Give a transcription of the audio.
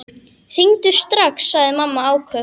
Hringdu strax, sagði mamma áköf.